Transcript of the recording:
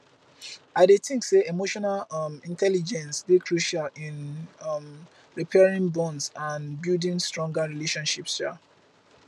i dey think say emotional um intelligence dey crucial in um repairing bonds and building stronger relationships um